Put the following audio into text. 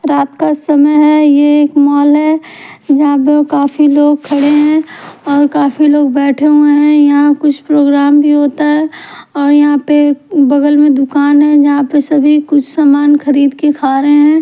रात का समय है यह एक मॉल है जहा पर काफी लोग खड़े है और काफी लोग बैठे हुए है यहाँ कुछ प्रोग्राम भी होता है और यहाँ पे बगल में दुकान है जहा पर सभी कुछ सामान खरीद के खा रहे है।